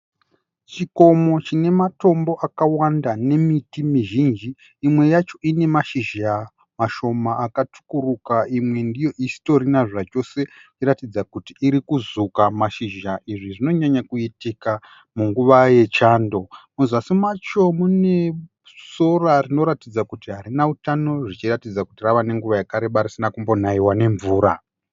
Chikomo chine matombo akawanda nemiti mizhinji imwe yacho ine mashizha mashoma akatsvukuruka imwe ndiyo isitorina zvachose ichiratidza kuti iri kuzuka mashizha izvi zvinonyanya kuitika munguva yechando muzasi macho mune sora rinoratidza kuti harina utano zvichiratidza kuti rava nenguva yakareba risina kumbonaiwa nemvura.